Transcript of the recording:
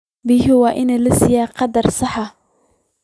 Biyaha waa in la siiyaa qadar sax ah.